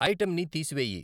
Item ని తీసివేయి.